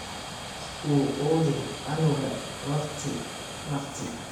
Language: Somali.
Uu Quudi canuga wakhti wakhti.